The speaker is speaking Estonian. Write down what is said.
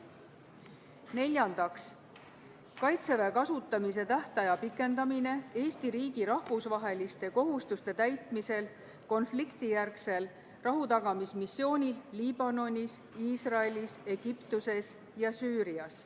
Neljandaks, Kaitseväe kasutamise tähtaja pikendamine Eesti riigi rahvusvaheliste kohustuste täitmisel konfliktijärgsel rahutagamismissioonil Liibanonis, Iisraelis, Egiptuses ja Süürias.